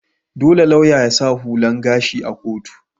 Dolle lauya ya sa hular gashi a'kotu.